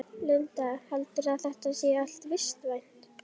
Hinn fallni var meðvitundarlítill og þagði.